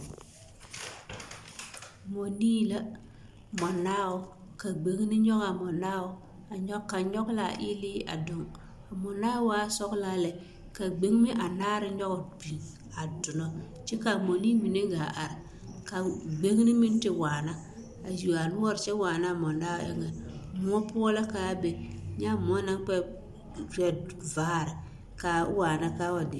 Mɔnii la, mɔnaao ka gbeŋene nyɔge a mɔnaao a nyɔge kaŋ nyɔge l'a eelee a doŋ, a mɔnaao waa sɔgelaa lɛ ka gbeŋeme anaare nyɔge biŋ a donɔ kyɛ k'a mɔnii mine gaa are ka gbeŋene meŋ the waana a yuo a noɔre kyɛ waana a mɔnaao eŋɛ, moɔ poɔ la k'a be nyɛ a moɔ naŋ kpɛ kpɛ vaare k'a waana k'a wa